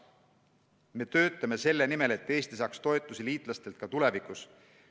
Me töötame selle nimel, et Eesti saaks toetusi liitlastelt ka tulevikus.